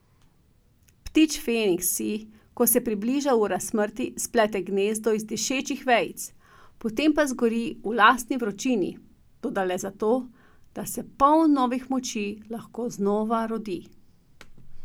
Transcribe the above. Ptič Feniks si, ko se približa ura smrti, splete gnezdo iz dišečih vejic, potem pa zgori v lastni vročini, toda le zato, da se poln novih moči lahko znova rodi.